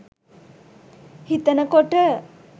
හිතන කොට